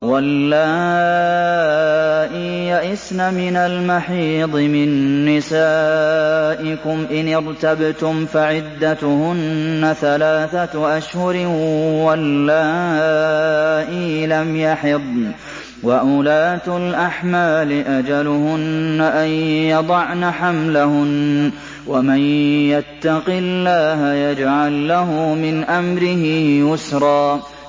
وَاللَّائِي يَئِسْنَ مِنَ الْمَحِيضِ مِن نِّسَائِكُمْ إِنِ ارْتَبْتُمْ فَعِدَّتُهُنَّ ثَلَاثَةُ أَشْهُرٍ وَاللَّائِي لَمْ يَحِضْنَ ۚ وَأُولَاتُ الْأَحْمَالِ أَجَلُهُنَّ أَن يَضَعْنَ حَمْلَهُنَّ ۚ وَمَن يَتَّقِ اللَّهَ يَجْعَل لَّهُ مِنْ أَمْرِهِ يُسْرًا